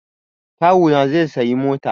Kawu na zai sayi mota